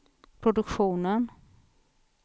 produktionen